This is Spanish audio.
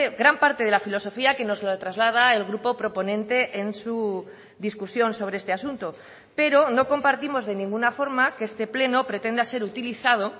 gran parte de la filosofía que nos lo traslada el grupo proponente en su discusión sobre este asunto pero no compartimos de ninguna forma que este pleno pretenda ser utilizado